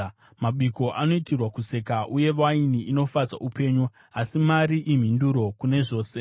Mabiko anoitirwa kuseka, uye waini inofadza upenyu, asi mari imhinduro kune zvose.